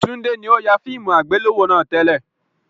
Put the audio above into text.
Tunde ni o fẹ yà fíìmù àgbéléwò náà tẹ́lẹ̀